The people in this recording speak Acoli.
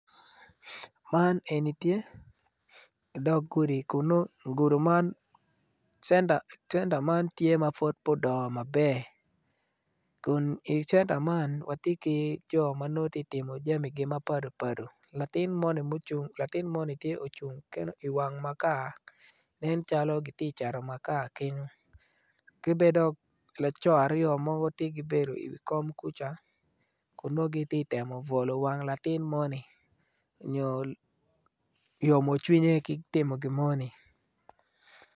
Man eni tye odg gudi kun nongo centa man tye ma pud pe odongo maber kun i centa man watye ki jo ma nongo tye ka timo jamigi mapadi padi latin moni tye ocung kene iwang makar nen calo giti cato makar kenyo ki bene dok co aryo mogo tye gibedo iwi kom kuca kun nongo giti temo bwolo wang latin moni nyo yomocwinye ki timo gin moni.